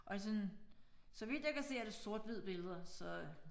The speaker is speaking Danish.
Og det sådan så vidt jeg kan se er det sort hvid billeder så